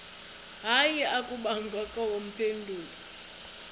hayi akubangakho mpendulo